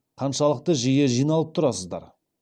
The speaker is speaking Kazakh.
қаншалықты жиі жиналып тұрасыздар